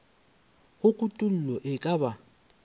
ge kutollo e ka ba